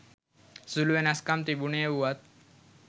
සුළු වෙනස්කම් තිබුණේ වුවත්